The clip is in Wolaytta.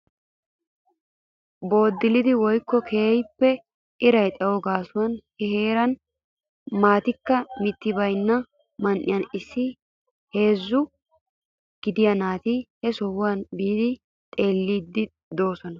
Booddilidi woykko keehippe iraa xayo gaasuwaan he heeran maatikka mitti baynna man"iyaan issi heezzaa gidiyaa naati he sohuwaa biidi xeellidi de'oosona.